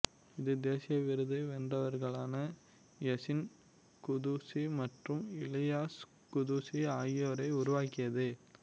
இது தேசிய விருது வென்றவர்களான யசீன் குதுசி மற்றும் இலியாஸ் குதூசி ஆகியோரை உருவாக்கியது